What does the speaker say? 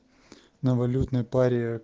на валютной паре